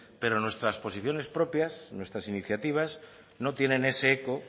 pero nuestra posiciones propias nuestras iniciativas no tienen ese eco